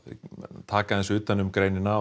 taka utan um greinina og